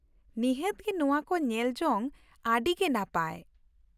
ᱱᱤᱦᱟᱹᱛ ᱜᱮ ᱱᱚᱶᱟ ᱠᱚ ᱧᱮᱞ ᱡᱚᱝ ᱟᱹᱰᱤ ᱜᱮ ᱱᱟᱯᱟᱭ ᱾